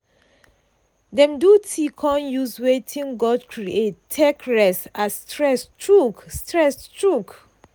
dem do tea con use wetin god create take rest as stress choke. stress choke.